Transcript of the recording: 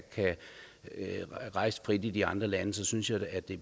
rejse frit i de andre lande så synes jeg det